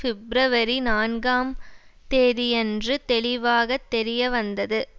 பிப்ரவரி நான்குஆம் தேதியன்று தெளிவாகத்தெரிய வந்தது